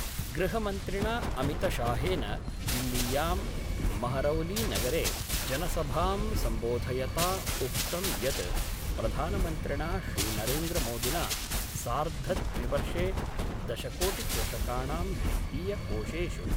गृहमन्त्रिणा अमितशाहेन दिल्लीयां महरौलीनगरे जनसभां सम्बोधयता उक्तं यत् प्रधानमन्त्रिणा श्रीनरेन्द्रमोदिना सार्द्धद्विवर्षे दशकोटिकृषकाणां वित्तीयकोषेषु